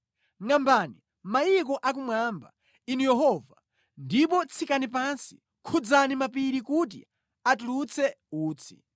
Ngʼambani mayiko akumwamba, Inu Yehova, ndipo tsikani pansi; khudzani mapiri kuti atulutse utsi.